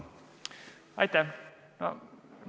Aitäh!